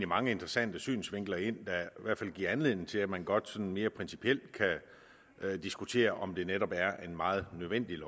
mange interessante synsvinkler ind der i hvert fald giver anledning til at man godt sådan mere principielt kan diskutere om det netop er et meget nødvendigt